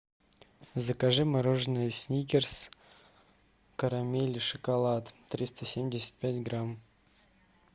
закажи мороженое сникерс карамель и шоколад триста семьдесят пять грамм